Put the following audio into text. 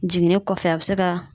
Jiginni kɔfɛ a bɛ se ka